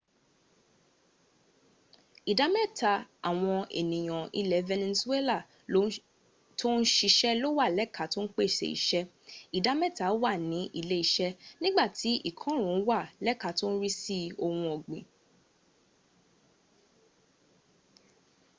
ìdá mẹ́ta àwọn ènìyàn ilẹ̀ venezuela tó ń siṣẹ́ ló wà lẹ́ka tó ń pèsè iṣẹ́ ìdá mẹ́ta wà ní ilé- iṣẹ́ nígbàtí ìkọrùn ún wà lẹ́ka tó ń rí sí ohun ọ̀gbìn